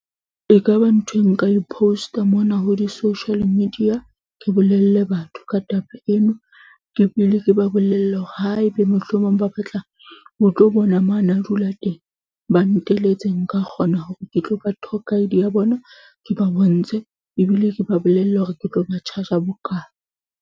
Ekaba ntho e nka e post-a mona ho di-social media. Ke bolelle batho ka taba eno, ke pele ke ba bolelle hore haebe mohlomong ba batla ho tlo bona mo a na dula teng. Ba nteletse nka kgona hore ke tlo ba I_D ya bona, ke ba bontshe ebile ke ba bolelle hore ke tlo ba charge-a bokae.